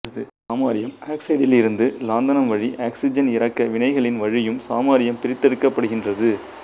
samarium ஆக்ஸைடில் இருந்து lanthanum வழி ஆக்ஸிஜன் இறக்க வினைகளின் வழியும் சமாரியம் பிரித்தெடுக்கப்படுகின்றது